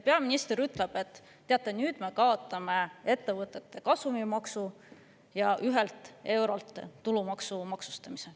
Peaminister ütleb, et teate, nüüd me kaotame ettevõtete kasumimaksu ja eurost tulumaksuga maksustamise.